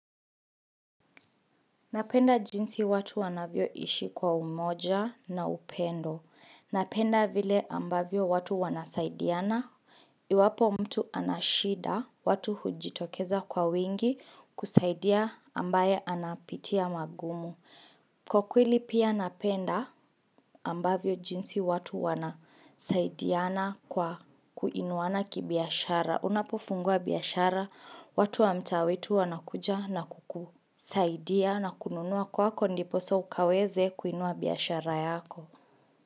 Napenda jinsi watu wanavyo hishi kwa umoja na upendo Napenda vile ambavyo watu wanasaidiana Iwapo mtu anashida watu hujitokeza kwa wingi kusaidia ambaye anapitia magumu Kwa kweli pia napenda ambavyo jinsi watu wanasaidiana kwa kuinuana kibiashara Unapofungua biashara, watu wa mtaa wetu wanakuja na kukusaidia na kununua kwako ndiposa ukaweze kuinua biashara yako.